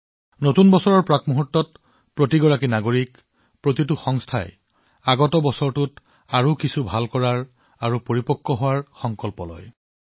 নতুন বছৰত প্ৰতিজন ব্যক্তি প্ৰতিটো প্ৰতিষ্ঠানে আগন্তুক বছৰত কিবা এটা ভাল কৰাৰ উন্নত হোৱাৰ সংকল্প লৈছে